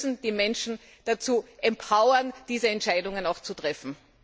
Wir müssen die Menschen dazu empowern diese Entscheidungen auch zu treffen.